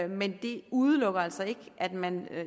men det udelukker altså ikke at man